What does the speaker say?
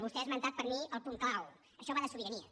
vostè ha esmentat per mi el punt clau això va de sobiranies